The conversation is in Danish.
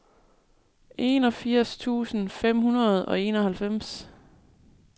enogfirs tusind fem hundrede og enoghalvfems